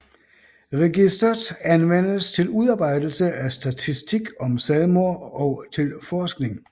Registeret anvendes til udarbejdelse af statistik om selvmord og til forskning